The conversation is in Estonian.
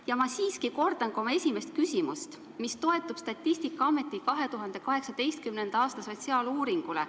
Ja ma siiski kordan ka oma esimest küsimust, mis toetub Statistikaameti 2018. aasta sotsiaaluuringule.